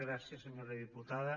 gràcies senyora diputada